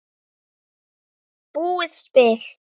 Búið spil.